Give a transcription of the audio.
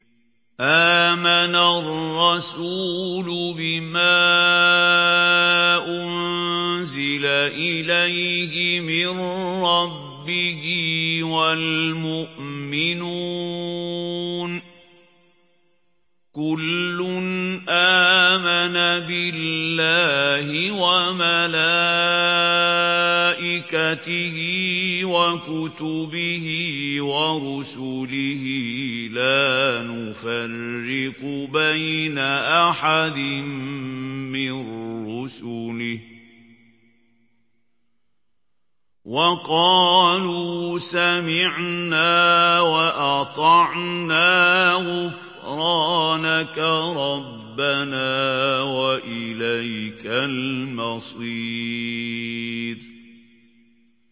آمَنَ الرَّسُولُ بِمَا أُنزِلَ إِلَيْهِ مِن رَّبِّهِ وَالْمُؤْمِنُونَ ۚ كُلٌّ آمَنَ بِاللَّهِ وَمَلَائِكَتِهِ وَكُتُبِهِ وَرُسُلِهِ لَا نُفَرِّقُ بَيْنَ أَحَدٍ مِّن رُّسُلِهِ ۚ وَقَالُوا سَمِعْنَا وَأَطَعْنَا ۖ غُفْرَانَكَ رَبَّنَا وَإِلَيْكَ الْمَصِيرُ